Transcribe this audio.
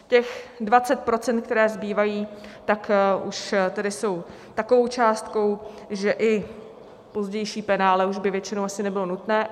Těch 20 %, která zbývají, tak už tedy jsou takovou částkou, že i pozdější penále už by většinou asi nebylo nutné.